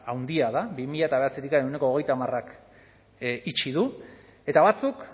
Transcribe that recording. handia da bi mila bederatzitik ehuneko hogeita hamarak itxi du eta batzuk